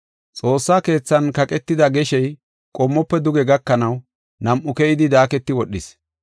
Xoossa keethan kaqetida magaraajoy qommofe duge gakanaw, nam7u keyidi daaketi wodhis.